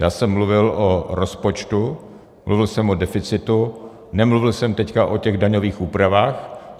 Já jsem mluvil o rozpočtu, mluvil jsem o deficitu, nemluvil jsem teď o těch daňových úpravách.